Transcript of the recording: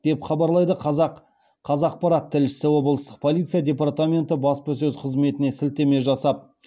деп хабарлайды қазақпарат тілшісі облыстық полиция департаментінің баспасөз қызметіне сілтеме жасап